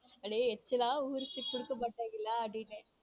அப்படியே எச்சிலா ஊருச்சு குடுக்க மாட்டாங்களா அப்படின்னு.